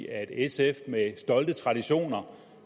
at sf der har stolte traditioner